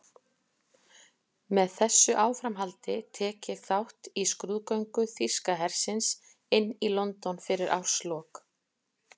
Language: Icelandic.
Með þessu áframhaldi tek ég þátt í skrúðgöngu þýska hersins inn í London fyrir árslok.